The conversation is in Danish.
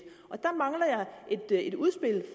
og der mangler jeg et udspil